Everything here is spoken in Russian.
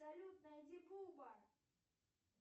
салют найди буба